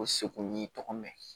O seko n'i tɔgɔ mɛn